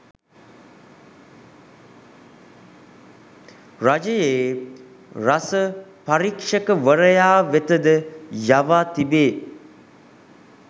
රජයේ රස පරීක්‍ෂකවරයා වෙතද යවා තිබේ.